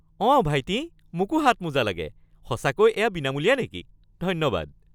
অঁ ভাইটি, মোকো হাতমোজা লাগে। সঁচাকৈ এয়া বিনামূলীয়া নেকি? ধন্যবাদ!